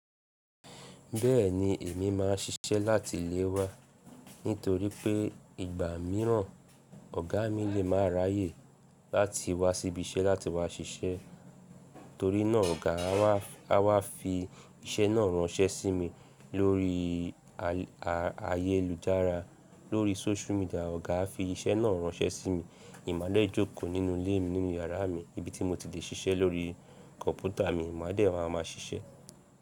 Bẹ́ẹ̀ni, èmi máà ń ṣiṣẹ́ láti ilé wa nítorí pé ìgbà mìíràn ọ̀gá mi lè máa ráyè láti wá síbí ìṣe láti wá ṣiṣẹ́. Torí náà ọ̀gá a wá fi iṣẹ́ náà ránṣẹ́ sí mi lórí ayélujára, lórí social media, ọ̀gá a fi iṣẹ́ náà ránṣẹ́ sí mi. Èmi a dẹ́ jókòó nínú ilé mi, nínú yàrá mi, ibi tí mo ti lè ṣiṣẹ́ lórí kọ̀npútà mi, mo máa dẹ́ máa ma ṣiṣẹ́